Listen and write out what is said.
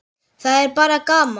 Það er bara gaman